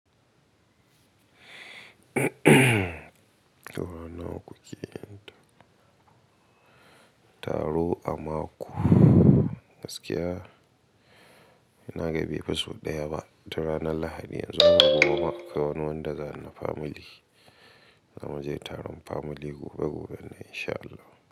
Saura nawa kuke yin taro a mako? Gaskiya ina ga bifas huɗu daya ba. Da ranar Lahadi yanzu ma gobe ma akwai wani wanda za na famili Za mu je taron famili gobe gobe ne in sha Allah.